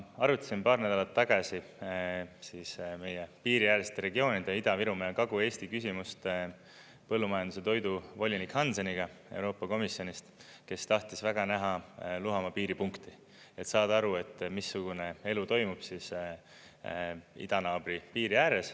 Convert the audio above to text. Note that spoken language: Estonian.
Ma arutasin paar nädalat tagasi siis meie piiriäärsete regioonide ja Ida-Virumaa ja Kagu-Eesti küsimust põllumajandus‑ ja toiduvolinik Hanseniga Euroopa Komisjonist, kes tahtis väga näha Luhamaa piiripunkti, et saada aru, missugune elu toimub idanaabri piiri ääres.